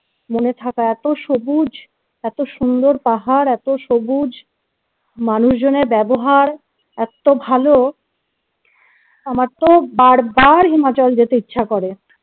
মনে থাকা এত সবুজ এত সুন্দর পাহাড় এত সবুজ মানুষজনের ব্যবহার এত্ত ভালো আমার তো বার বার হিমাচল যেতে ইচ্ছা করে